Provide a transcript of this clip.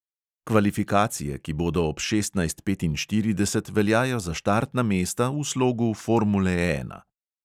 Kvalifikacije, ki bodo ob šestnajst petinštirideset, veljajo za štartna mesta v slogu formule ena.